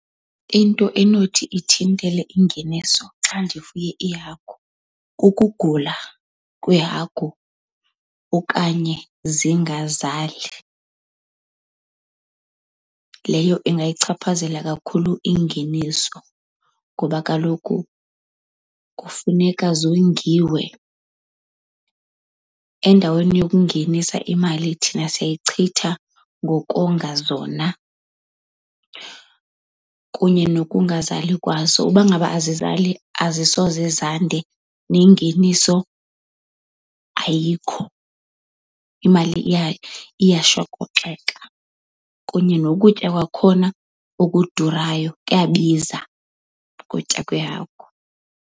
Into enothi ithintele ingeniso xa ndifuye iihagu kukugula kweehagu okanye zingazali. Leyo ingayichaphazela kakhulu ingeniso ngoba kaloku kufuneka zongiwe. Endaweni yokungenisa imali thina siyayichitha ngokonga zona kunye nokungazali kwazo. Uba ngaba azizali azisoze zande nengeniso ayikho. Imali iya iyashokoxeka kunye nokutya kwakhona okudurayo, kuyabiza ukutya kwehagu.